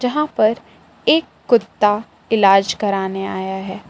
यहां पर एक कुत्ता इलाज कराने आया है।